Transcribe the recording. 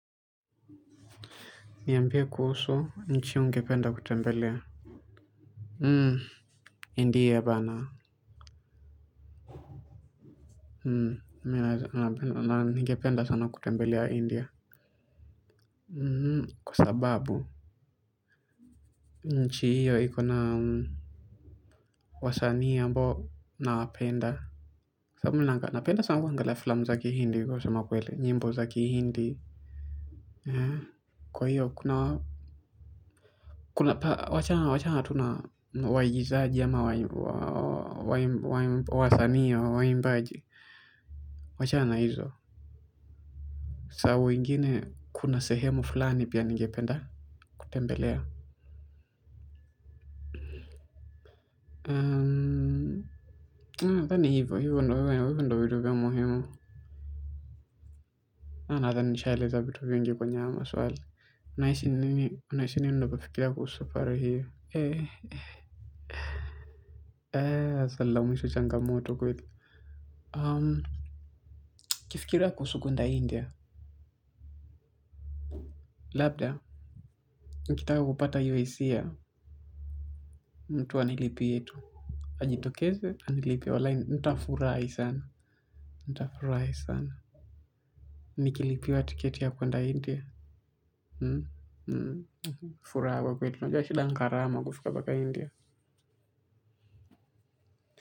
Niambie kuhusu, nchi ungependa kutembelea. Hmm, india bwana. Hmm, ningependa sana kutembelea India. Hmm, kwa sababu, nchi hiyo ikona wasanii ambao nawapenda. Sababu napenda sana kuangalia filamu za ki hindi, kusema kweli, nyimbo za ki hindi. Eh, kwa hiyo, kuna, wachana tu na, waigizaji ama, waasani au waimbaji. Wachana na hizo, saa ingine kuna sehemu fulani pia ningependa kutembelea. Nadhani hivo, hivyo ndivyo vitu vya muhimu. Nadhani nishaeleza vitu vingi kwnye hayo maswali. Unaishi ni nini ndiyo kufikiria kuhusu faro hii. Eh, eh, swali la mwisho changamoto kweli. Nikifikiria kuhusu kuenda India, labda, nikitaka kupata hisia, mtu anilipie yetu. Ajitokeze, anilipie walahi, nitafurahi sana. Nitafurahi sana. Nikilipiwa tiketi ya kuenda India. Furaha kwa kweli, unajua shida ni gharama kufika mpaka India.